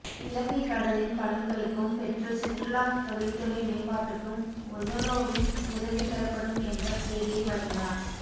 இலங்கை கடலின் பலன்களுக்கும் பெற்று சுற்றுலா தொழில்துறை மேம்பாட்டுக்கும் ஒஸலோவின் உதவிபெறப்படும் என்ற செய்தியை வழங்கினார்